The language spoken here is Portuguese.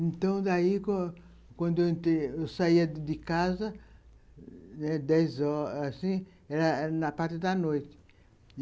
Então, daí, quando eu saía de casa, dez horas, assim, era na parte da noite.